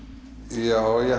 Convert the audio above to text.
já ég